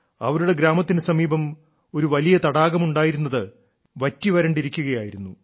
അവരുടെ ഗ്രാമത്തിനു സമീപം ഒരു വലിയ തടാകം ഉണ്ടായിരുന്നത് വറ്റിവരണ്ടിരിക്കുകയായിരുന്നു